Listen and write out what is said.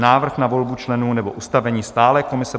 Návrh na volbu členů nebo ustavení stálé komise